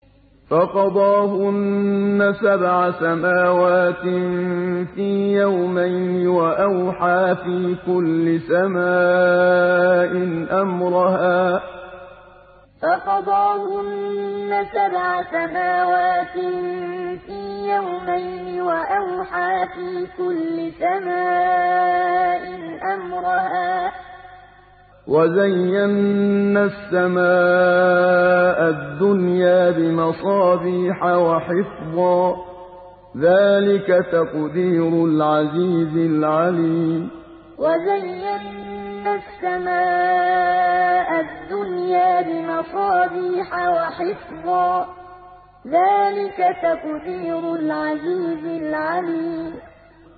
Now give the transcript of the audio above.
فَقَضَاهُنَّ سَبْعَ سَمَاوَاتٍ فِي يَوْمَيْنِ وَأَوْحَىٰ فِي كُلِّ سَمَاءٍ أَمْرَهَا ۚ وَزَيَّنَّا السَّمَاءَ الدُّنْيَا بِمَصَابِيحَ وَحِفْظًا ۚ ذَٰلِكَ تَقْدِيرُ الْعَزِيزِ الْعَلِيمِ فَقَضَاهُنَّ سَبْعَ سَمَاوَاتٍ فِي يَوْمَيْنِ وَأَوْحَىٰ فِي كُلِّ سَمَاءٍ أَمْرَهَا ۚ وَزَيَّنَّا السَّمَاءَ الدُّنْيَا بِمَصَابِيحَ وَحِفْظًا ۚ ذَٰلِكَ تَقْدِيرُ الْعَزِيزِ الْعَلِيمِ